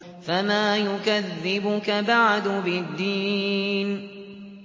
فَمَا يُكَذِّبُكَ بَعْدُ بِالدِّينِ